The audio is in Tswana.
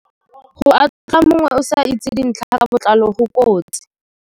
Go atlhola mongwe o sa itse dintlha ka botlalo go kotsi.